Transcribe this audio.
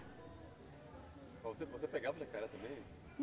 Você você pegava o jacaré também?